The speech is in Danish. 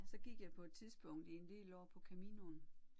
Så gik jeg på et tidspunkt i en del år på Caminoen